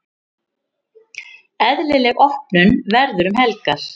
Eðlileg opnun verður um helgar.